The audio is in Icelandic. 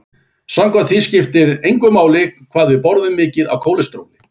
Samkvæmt því skipti engu máli hvað við borðum mikið af kólesteróli.